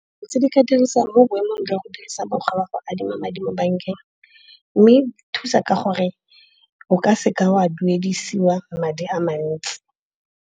Dilo tse di ka dirisiwang mo boemong jwa go dirisa mokgwa wa go adima madi mo bankeng, mme e thusa ka gore o ka seke wa duedisiwa madi a mantsi.